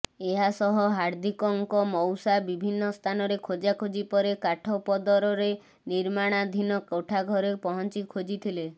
ଏହାସହ ହାର୍ଦ୍ଧିକଙ୍କ ମଉସା ବିଭିନ୍ନ ସ୍ଥାନରେ ଖୋଜାଖୋଜି ପରେ କାଠପଦରରେ ନିର୍ମାଣାଧିନ କୋଠାଘରେ ପହଞ୍ଚି ଖୋଜିଥିଲେ